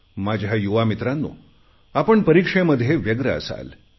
माझ्या युवा मित्रांनो आपण परीक्षेमध्ये व्यग्र असाल